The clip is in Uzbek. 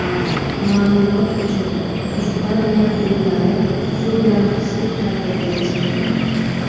Ma’lumot uchun, Ispaniya klublari shu bilan qishki ta’tilga chiqdi.